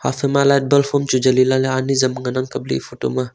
light bulb hamchu jali lah ley ani azam ngan ang kap ley aya photo ma.